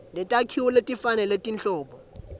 netakhiwo letifanele tinhlobo